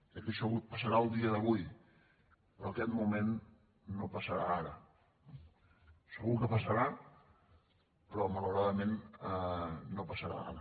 crec que això passarà el dia d’avui però aquest moment no passarà ara segur que passarà però malauradament no passarà ara